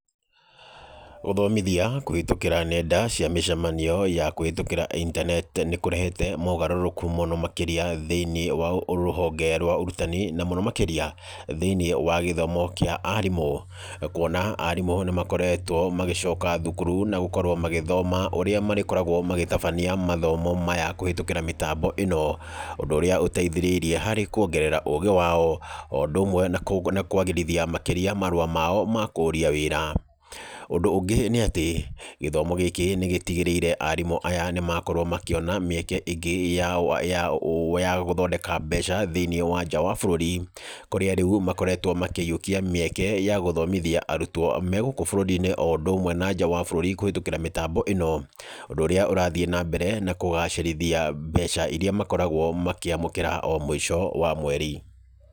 Gũthomithia kũhĩtũkĩra nenda cia mĩcemanio ya kũhĩtũkĩra intaneti nĩ kũrehete mogarũrũku mũno makĩria thĩinĩ wa Rũhonge rwa Ũrutani na mũno makĩria thĩinĩ wa gĩthomo kĩa arimũ. Kuona atĩ arimũ nĩ makoretwo magĩcoka thukuru na gũkorwo magĩthoma ũrĩa marĩloragwo magĩtabania mathomo maya kũhĩtũkĩra mĩtambo ĩno. Ũndũ ũrĩa ũteithĩrĩirie harĩ kuongerera ũgĩ wao o ũndũ ũmwe na kwagĩrithia makĩria marũa mao ma kũria wĩra. Ũndũ ũngĩ nĩ atĩ gĩthomo gĩkĩ nĩ gĩtĩgĩrĩire atĩ arimũ aya nĩ makorwo makĩona mĩeke ingĩ ya gũthondeka mbeca thĩinĩ wa nja wa bũrũri. Kũrĩa rĩu makoretwo makĩiyũkia mĩeke ya gũthomithia arutwo me gũkũ bũrũri-inĩ o ũndũ ũmwe na nja wa bũrũri kũhĩtũkĩra mĩtambo ĩno. Ũndũ ũrĩa ũrathiíĩ na mbere na kũgacĩrithia mbeca irĩa makoragwo makĩamũkĩra o mũico wa mweri.